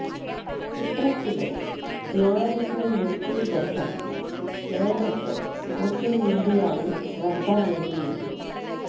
ചിത്രത്തിലെ ധ്യാനിന്റെ ലുക്കും ഗെറ്റപ്പും നേരത്തെ സോഷ്യല് മീഡിയയില് ശ്രദ്ധ നേടിയിരുന്നു